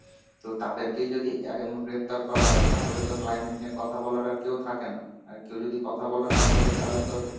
তো তাদেরকেই যদি এমন গ্রেপ্তার করা হয়, তাহলে তো climate নিয়ে কথা বলার আর কেউ থাকেনা. আর কেউ যদি কথা বলার না থাকে তাহলে তো